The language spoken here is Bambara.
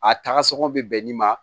A taga sɔngɔ be bɛn nin ma